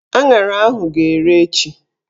Aṅara ahụ ga-ere echi